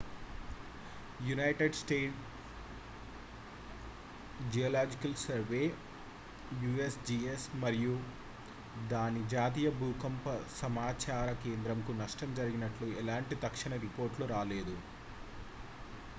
United States Geological Survey usgs మరియు దాని జాతీయ భూకంప సమాచార కేంద్రంకు నష్టం జరిగినట్లు ఎలాంటి తక్షణ రిపోర్ట్లు రాలేదు